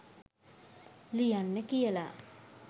ලියන්න කියලා.